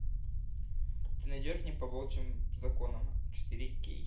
ты найдешь мне по волчьим законам четыре кей